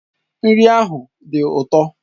Nri ahụ dị ụtọ.